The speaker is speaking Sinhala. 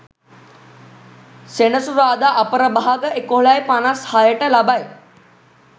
සෙනසුරාදා අපරභාග 11.56 ට ලබයි.